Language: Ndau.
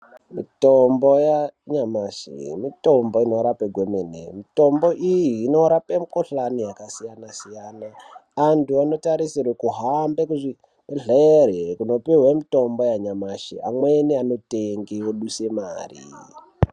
Mitombo yanyamashi mitombo inorape kwemene. Mitombo iyi inorape mikhuhlani yakasiyana-siyana. Antu anotarisirwe kuhamba kuzvibhehlere kunopihwe mitombo yanyamashi amweni anotenge oduse mari.